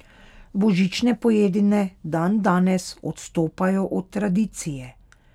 Božične pojedine dandanes odstopajo od tradicije.